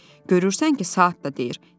Görürsən ki, saat da deyir: